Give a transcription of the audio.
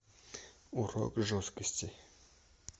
урок жесткости